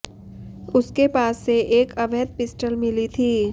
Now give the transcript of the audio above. उसके पास से एक अवैध पिस्टल मिली थी